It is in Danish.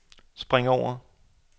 spring over